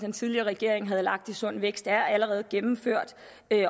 den tidligere regering havde lagt i sund vækst er allerede gennemført